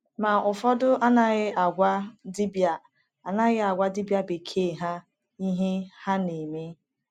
Ma, ụfọdụ anaghị agwa dibia anaghị agwa dibia bekee ha ihe ha na-eme.